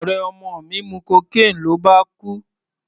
Ọ̀rẹ́ ọmọ mi mu cocaine ló bá kú.